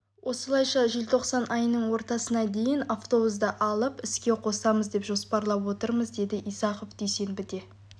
осылайша желтоқсан айының ортасына дейін автобусты алып іске қосамыз деп жоспарлап отырмыз деді исахов дүйсенбіде